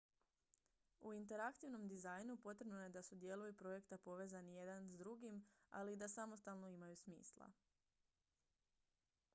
u interaktivnom dizajnu potrebno je da su dijelovi projekta povezani jedan s drugim ali i da samostalno imaju smisla